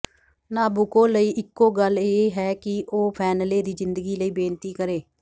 Nabucco ਲਈ ਇਕੋ ਗੱਲ ਇਹ ਹੈ ਕਿ ਉਹ ਫੈਨਲੇ ਦੀ ਜ਼ਿੰਦਗੀ ਲਈ ਬੇਨਤੀ ਕਰੇ